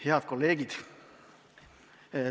Head kolleegid!